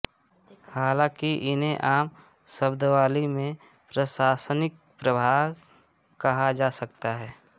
हालाँकि इन्हें आम शब्दावली में प्रशासनिक प्रभाग कहा जा सकता है